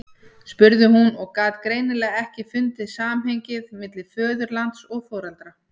spurði hún og gat greinilega ekki fundið samhengið milli föðurlands og foreldra.